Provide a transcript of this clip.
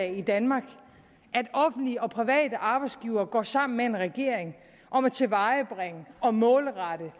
i danmark at offentlige og private arbejdsgivere går sammen med en regering om at tilvejebringe og målrette